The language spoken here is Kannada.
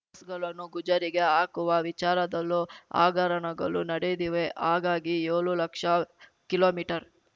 ಬಸ್‌ಗಳನ್ನು ಗುಜರಿಗೆ ಹಾಕುವ ವಿಚಾರದಲ್ಲೂ ಹಾಗರಣಗಳು ನಡೆದಿವೆ ಹಾಗಾಗಿ ಏಳು ಲಕ್ಷ ಕಿಲೋಮೀಟರ್